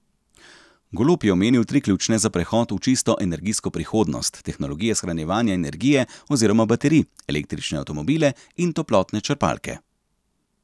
Golob je omenil tri ključne za prehod v čisto energijsko prihodnost, tehnologije shranjevanja energije oziroma baterij, električne avtomobile in toplotne črpalke.